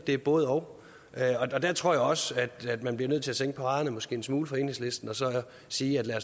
et både og jeg tror også at man bliver nødt til at sænke paraderne en smule fra enhedslistens side